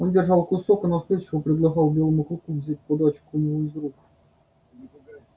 он держал кусок и настойчиво предлагал белому клыку взять подачку у него из рук